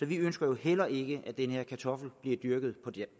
vi ønsker heller ikke at denne kartoffel bliver dyrket